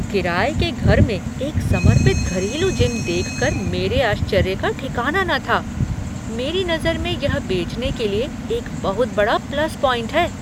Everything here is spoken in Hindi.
किराये के घर में एक समर्पित घरेलू जिम देखकर मेरे आश्चर्य का ठिकाना न था, मेरी नजर में यह बेचने के लिए एक बहुत बड़ा प्लस पॉइंट है।